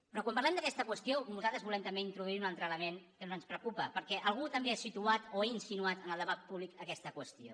però quan parlem d’aquesta qüestió nosaltres volem també introduir hi un altre element que ens preocupa perquè algú també ha situat o insinuat en el debat públic aquesta qüestió